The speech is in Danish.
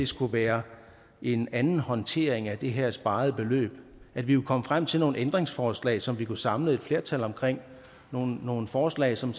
skulle være en anden håndtering af det her sparede beløb og at vi kunne komme frem til nogle ændringsforslag som vi kunne samle et flertal om nogle nogle forslag som